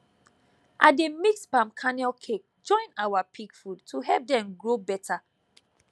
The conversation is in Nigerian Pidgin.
i dey mix palm kernel cake join our pig food to help dem grow better